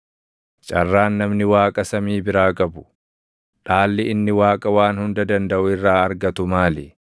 Carraan namni Waaqa samii biraa qabu, dhaalli inni Waaqa Waan Hunda Dandaʼu irraa argatu maali?